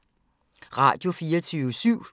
Radio24syv